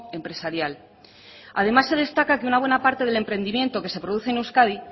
empresarial además se destaca que una buena parte del emprendimiento que se produce en euskadi